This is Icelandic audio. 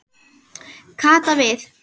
Kata við.